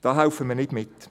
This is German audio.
Da helfen wir nicht mit.